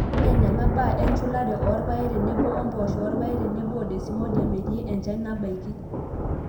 ineneng'a ibaa enchulare oorpaek tenebo impoosho orpaek tenebo desmodium etii enchan nabaiki.